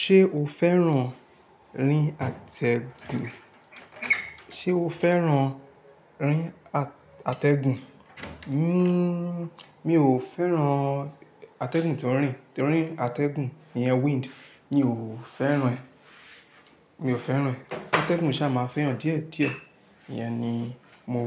Ṣé o fẹ́ràn rín atẹ́gùn? Sé o fẹ́ràn rín atẹ́gùn? Hmm mi ò fẹ́ràn atẹ́gùn tó ń rín torí atẹ́gùn iyẹn wind. Mi ò fẹ́ràn ẹ́. Mi ò fẹ́ràn ẹ́. Atẹ́gùn sa máa fẹ́yàn díẹ̀ díẹ̀. Iyẹn ni mo